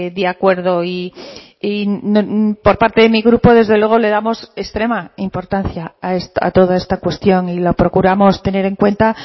de acuerdo y por parte de mi grupo desde luego le damos extrema importancia a toda esta cuestión y lo procuramos tener en cuenta